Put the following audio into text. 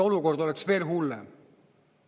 Olukord oleks veel hullem.